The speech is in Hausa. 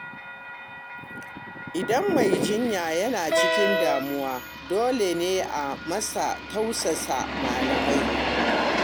Idan mai jinya yana cikin damuwa, dole ne a masa tausasan malamai.